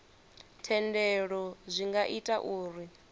thendelo zwi nga ita uri